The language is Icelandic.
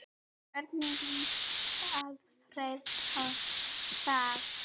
Hvernig lýst Alfreð á það?